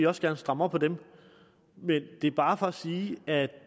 også gerne stramme op på dem men det er bare for at sige at